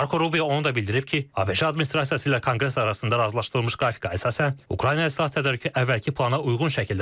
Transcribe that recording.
Marko Rubio onu da bildirib ki, ABŞ administrasiyası ilə konqres arasında razılaşdırılmış qrafikə əsasən Ukraynaya silah tədarükü əvvəlki plana uyğun şəkildə davam edir.